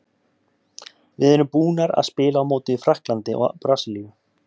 Við erum búnar að spila á móti Frakklandi og Brasilíu.